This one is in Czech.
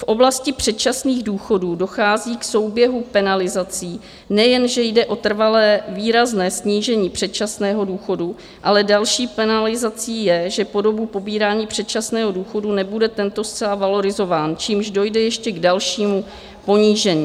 V oblasti předčasných důchodů dochází k souběhu penalizací - nejenže jde o trvalé výrazné snížení předčasného důchodu, ale další penalizací je, že po dobu pobírání předčasného důchodu nebude tento zcela valorizován, čímž dojde ještě k dalšímu ponížení.